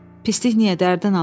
Pislik niyə dərddən alım?